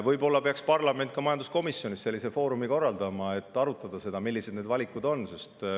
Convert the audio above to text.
Võib-olla peaks parlament majanduskomisjonis sellise foorumi korraldama, et arutada, millised valikud on.